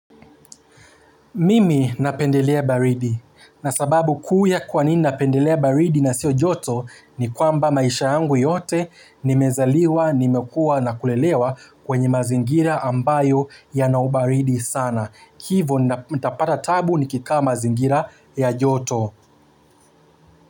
Mimi napendelea baridi na sababu kuu ya kwa nini napendelea baridi na sio joto ni kwamba maisha yangu yote nimezaliwa, nimekua na kulelewa kwenye mazingira ambayo yana ubaridi sana. Hivo nitapata taabu nikikaa mazingira ya joto.